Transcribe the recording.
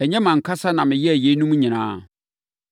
Ɛnyɛ mʼankasa na meyɛɛ yeinom nyinaa?’